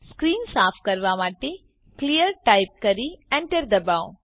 screen સાફ કરવા માટે ક્લિયર ટાઈપ કરી એન્ટર દબાવો